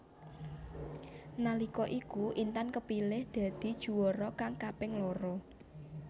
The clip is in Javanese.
Nalika iku Intan kepilih dadi juwara kang kaping loro